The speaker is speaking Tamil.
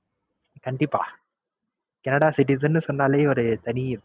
கண்டிப்பா. Canada citizens ன்னு சொன்னாலே ஒரு தனி